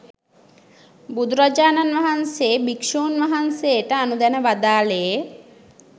බුදුරජාණන්වහන්සේ භික්‍ෂූන් වහන්සේ ට අනුදැන වදාළේ